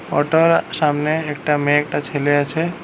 Auto এর সামনে একটা মেয়ে একটা ছেলে আছে।